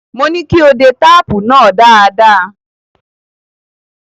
Mo ní kí o de táàpù náà dáadáa.